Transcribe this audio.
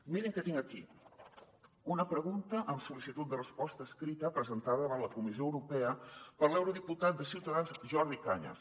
mirin què tinc aquí una pregunta amb sollicitud de resposta escrita presentada davant la comissió europea per l’eurodiputat de ciutadans jordi cañas